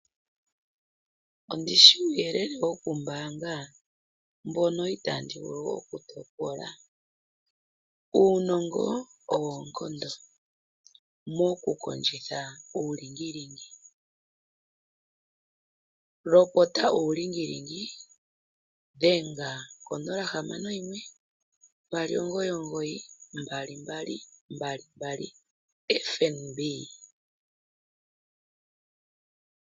Ondishi uuyelele wokumbaanga mbono itandi vulu okutopola. Uunongo owo oonkondo mokukondjitha uulingilingi. Lopota uulingilingi dhenga ngo 0612992222 FNB.